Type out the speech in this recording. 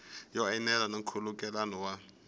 yo enela na nkhulukelano wa